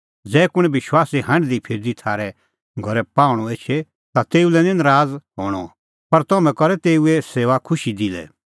ज़ै कुंण विश्वासी हांढदीफिरदी थारै घरै पाहूंणअ एछे ता तेऊ लै निं नराज़ हणअ पर तम्हैं तेऊए सेऊआ खुशी दिलै